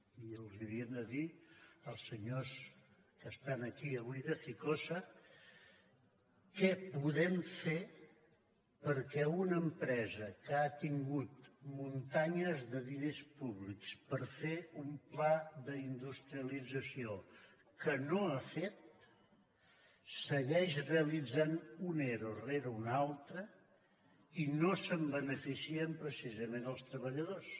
i els hauríem de dir als senyors que estan aquí avui de ficosa què podem fer perquè una empresa que ha tingut muntanyes de diners públics per fer un pla d’industrialització que no ha fet segueix realitzant un ero rere un altre i no se’n beneficien precisament els treballadors